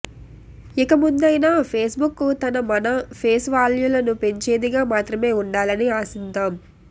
ఇక ముందయినా ఫేస్బుక్ తన మన ఫేస్ వ్యాల్యూను పెంచేదిగా మాత్రమే ఉండాలని ఆశిద్దాం